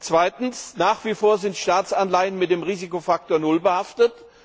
Zweitens Nach wie vor sind Staatsanleihen mit dem Risikofaktor null behaftet.